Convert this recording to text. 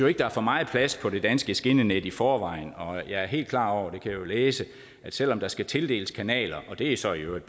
ikke der er for meget plads på det danske skinnenet i forvejen og jeg er helt klar over det kan jeg jo læse at selv om der skal tildeles kanaler og det er så i øvrigt